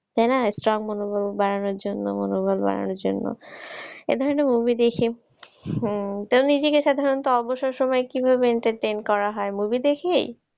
তাইনা strong মনোবল বাড়ানোর জন্য মনোবল বাড়ানোর জন্য। এ ধরনের movie দেখে। হম নিজেকে সাধারণত অবসর সময় কিভাবে entertain করা হয়? movie দেখেই?